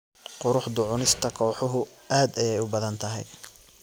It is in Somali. Quruxda cunista kooxuhu aad ayay u badan tahay